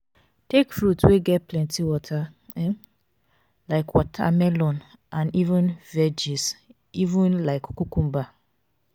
take fruits wey get plenty water um like watermelon and um veggies um like cucumber